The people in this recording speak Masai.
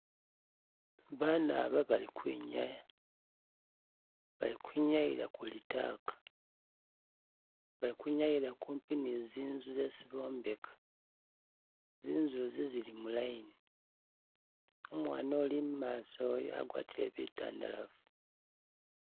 Bana ba bali kwinyaya balikwinyayila kuli taka balikwinyayila kupi nizinzu zesi bombeka, zinzu zi zili mu line umwana uli imaaso uyu wagwatile bitandalafu